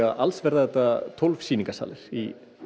alls verða þetta tólf sýningarsalir í